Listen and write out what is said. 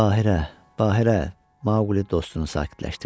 Bahirə, Bahirə, Maqli dostunu sakitləşdirdi.